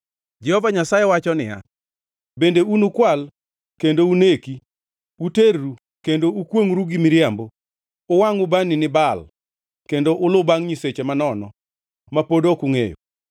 “ ‘Jehova Nyasaye wacho niya, Bende unukwal kendo uneki, uterru kendo ukwongʼru gi miriambo, uwangʼ ubani ni Baal kendo ulu bangʼ nyiseche manono ma pod ok ungʼeyo,